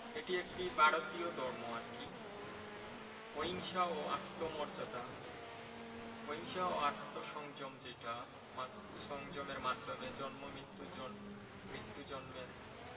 এটি একটি ভারতীয় ধর্ম আর কি। অহিংসা ও আত্ম মর্যাদা অহিংসা ও আত্ম সংযম যেটা মানে সংযমের মাধ্যমে জন্ম মৃত্যু, মৃত্যু জন্মের